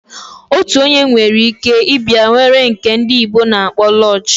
Ofu onye nwere ike ibia were nke ndi bekee na akpo lodge.